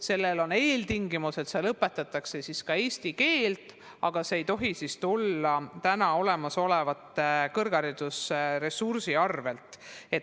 Selle eeltingimuseks on, et seal õpetataks ka eesti keelt, aga see ei tohi tulla täna olemasoleva kõrgharidusressursi arvelt.